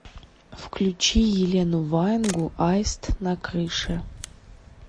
включи елену ваенгу аист на крыше